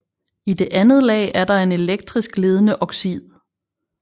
I det andet lag er der en elektrisk ledende oxid